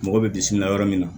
Mɔgɔ bɛ bisimila yɔrɔ min na